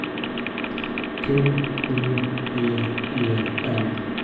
Q U E E N